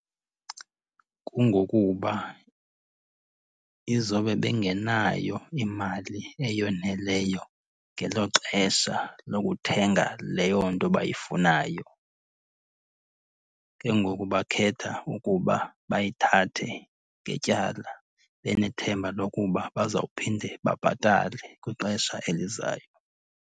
Kungokuba izobe bengenayo imali eyoneleyo ngelo xesha lokuthenga leyo nto bayifunayo. Ke ngoku bakhetha ukuba bayithathe ngetyala benethemba lokuba bazawuphinde babhatale kwixesha elizayo.